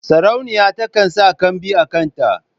Sarauniya takan sa kambi a kanta.